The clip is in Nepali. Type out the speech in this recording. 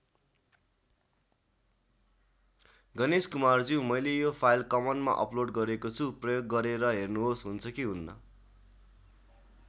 गणेश कुमारज्यू मैले यो फाइल कमनमा अपलोड गरेको छु प्रयोग गरेर हेर्नुहोस् हुन्छ कि हुन्न?